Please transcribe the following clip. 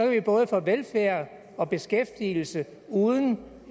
vi både få velfærd og beskæftigelse uden